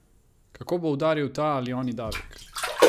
Kako bo udaril ta ali oni davek?